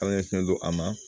Ala ɲɛsinnen do a ma